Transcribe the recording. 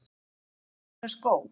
Jafnvel dýra skó?